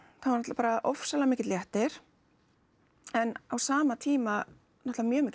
bara ofsalega mikill léttir en á sama tíma náttúrulega mjög mikið